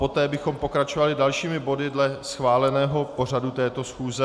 Poté bychom pokračovali dalšími body dle schváleného pořadu této schůze.